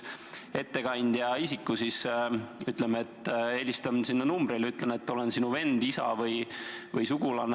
Ütleme, et ma helistan sinna numbrile ja ütlen, et olen sinu vend, isa või muu sugulane.